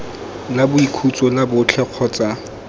la boikhutso la botlhe kgotsa